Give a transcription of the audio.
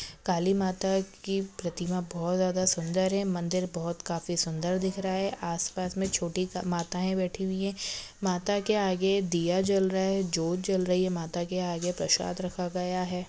काली मता की प्रतिमा बहुत ज्यादा सुंदर है मंदिर बहुत काफी सुंदर दिख रहा है आसपास मे छोटी माताए बैठी हुई है माताके आगे दिया जल रहा है ज्योत जल रही है माता के आगे प्रशाद रखा गया है।